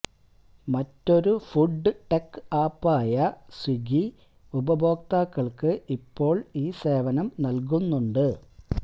മറ്റൊരു food tech ആപ്പായ Swiggy ഉപഭോക്താക്കള്ക്ക് ഇപ്പോള് ഈ സേവനം നല്കുന്നുണ്ട്